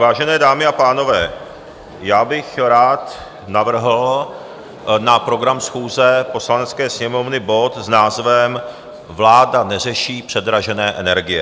Vážené dámy a pánové, já bych rád navrhl na program schůze Poslanecké sněmovny bod s názvem Vláda neřeší předražené energie.